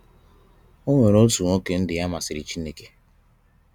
o nwere otu nwoke ndụ ya masịrị Chineke